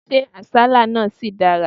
Ṣé àsálà náà ṣì dára?